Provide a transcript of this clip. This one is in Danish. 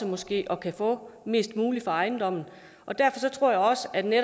måske at kunne få mest muligt for ejendommen og derfor tror jeg også at vi vil